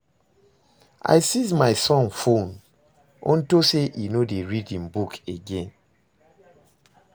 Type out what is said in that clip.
I seize my son phone unto say e no dey read im book again